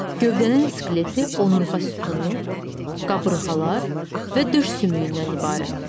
Gövdənin skeleti onurğa sütunu, qabırğalar və döş sümüyündən ibarətdir.